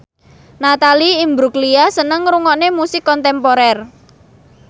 Natalie Imbruglia seneng ngrungokne musik kontemporer